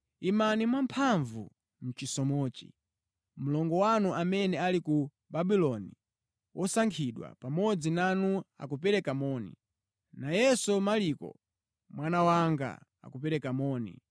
Imani mwamphamvu mʼchisomochi. Mlongo wanu amene ali ku Babuloni, wosankhidwa pamodzi nanu akupereka moni, nayenso Marko, mwana wanga, akupereka moni.